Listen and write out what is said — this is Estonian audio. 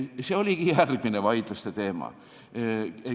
See oligi järgmine vaidluste teema.